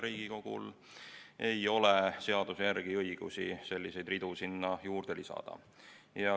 Riigikogul ei ole seaduse järgi õigust selliseid ridu sinna juurde lisada.